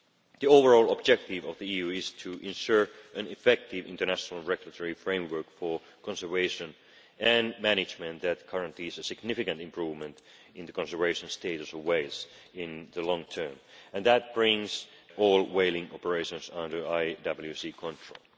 The overall objective of the EU is to ensure an effective international regulatory framework for conservation and management, that currently is a significant improvement in the conservation status of whales in the long term and that brings all whaling operations under IWC control.